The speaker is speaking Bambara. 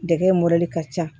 Dɛgɛ in ka ca